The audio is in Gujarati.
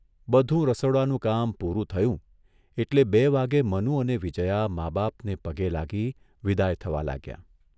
બધું રસોડાનું કામ પુરું થયું એટલે બે વાગ્યે મનુ અને વિજયા મા બાપને પગે લાગી વિદાય થવા લાગ્યાં.